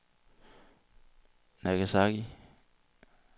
Nagasaki